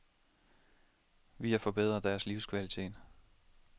Vi har forbedret deres livskvalitet.